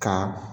Ka